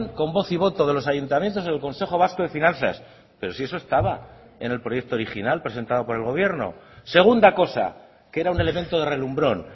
con voz y voto de los ayuntamientos en el consejo vasco de finanzas pero si eso estaba en el proyecto original presentado por el gobierno segunda cosa que era un elemento de relumbrón